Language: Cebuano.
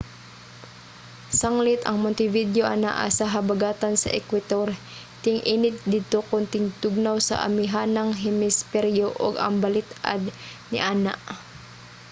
sanglit ang montevideo anaa sa habagatan sa ekwetor ting-init didto kon tingtugnaw sa amihanang hemisperyo ug ang balit-ad niana